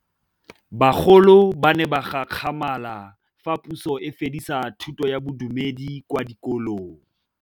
Bagolo ba ne ba gakgamala fa Pusô e fedisa thutô ya Bodumedi kwa dikolong.